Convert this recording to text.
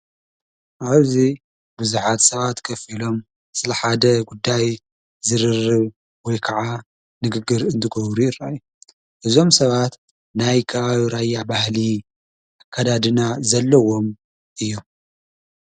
ኣበዙይ ብዙኃት ሰባት ከፊሎም ስለሓደ ጕዳይ ዝርር ወይ ከዓ ንግግር እንትጐብሪረይ እዞም ሰባት ናይ ክባዩራያዕ ባህሊ ኣካዳድና ዘለዎም እዩም።